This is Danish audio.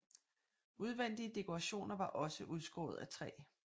Udvendige dekorationer var også udskåret af træ